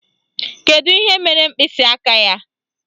Kedu ihe mere mkpịsịaka ya?